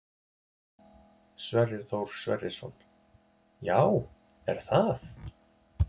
Sverrir Þór Sverrisson: Já, er það?